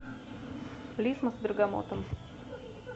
лисма с бергамотом